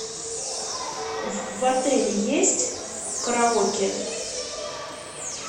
в отеле есть караоке